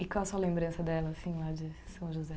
E qual a sua lembrança dela, assim, lá de São José?